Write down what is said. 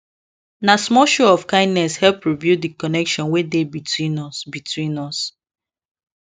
na small show of kindness help rebuild the connection wey dey between us between us